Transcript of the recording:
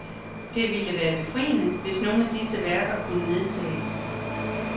Det ville være befriende, hvis nogle af disse værker kunne nedtages.